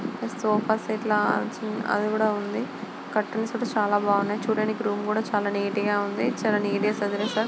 ఆ sofa set లా కూడ ఉంది. కర్టెన్స్ ఐతే చాలా బాగున్నాయి. చుడానికి రూమ్ కూడా చాలా నీట్ గా ఉంది. చాలా నీట్ గా సాధిరెస.